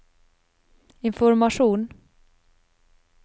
informasjon